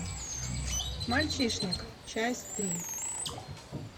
мальчишник часть три